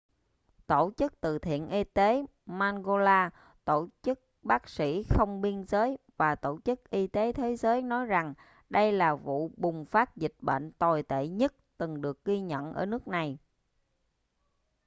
tổ chức từ thiện y tế mangola tổ chức bác sĩ không biên giới và tổ chức y tế thế giới nói rằng đây là vụ bùng phát dịch bệnh tồi tệ nhất từng được ghi nhận ở nước này